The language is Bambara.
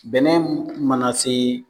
Bɛnɛ mana se